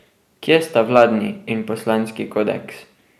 Kje sta vladni in poslanski kodeks?